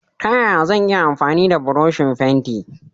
Ta yaya zan iya amfani da buroshi fenti?